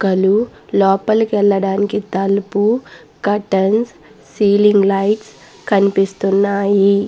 మొక్కలు లోపలికి వెళ్ళడానికి తలుపు కర్టెన్స్ సీలింగ్ లైట్స్ కనిపిస్తునాయి.